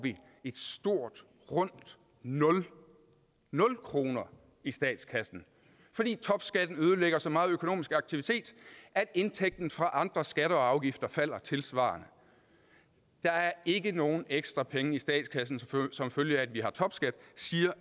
et stort rundt nul nul kroner i statskassen fordi topskatten ødelægger så meget økonomisk aktivitet at indtægten fra andre skatter og afgifter falder tilsvarende der er ikke nogen ekstra penge i statskassen som følge af at vi har topskat siger